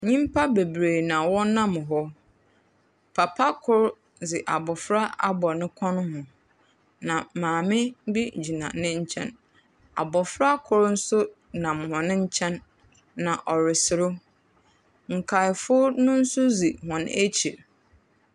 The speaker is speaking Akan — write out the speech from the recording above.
Nipa bebree na wɔnam hɔ. Papa kor dze abofra abɔ ne kɔn ho. Na maame bi gyina ne nkyɛn. Abofra kor nso nam hɔn nkyɛn. Na ɔreserew. Nkaafo no nso dzi wɔn akyir.